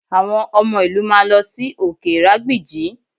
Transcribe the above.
Àwọn ọmọ ìlú máa lọ sí òkè ìrágbìjí